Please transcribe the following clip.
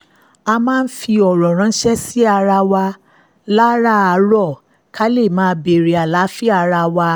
a máa ń fi ọ̀rọ̀ ránṣẹ́ síra wa láràárọ̀ ká lè máa bèèrè àlàáfíà ara wa